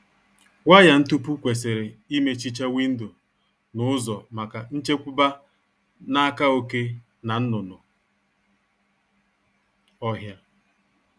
Waya ntupu kwesịrị imechicha windo na ụzọ maka nchekwba n'aka oké na nnụnụ ọhịa